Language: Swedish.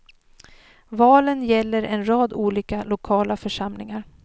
Valen gäller en rad olika lokala församlingar.